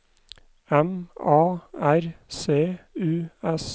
M A R C U S